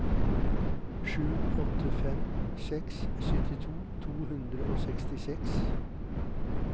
sju åtte fem seks syttito to hundre og sekstiseks